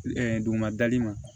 duguma dali ma